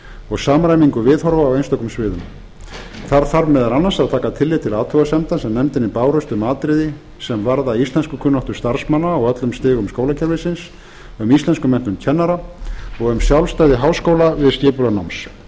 og samræmingu viðhorfa á einstökum sviðum þar þarf meðal annars að taka tillit til athugasemda sem nefndinni bárust um atriði sem varða íslenskukunnáttu starfsmanna á öllum stigum skólakerfisins um íslenskumenntun kennara og um sjálfstæði háskóla við skipulag náms við